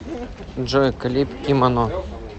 джой клип кимоно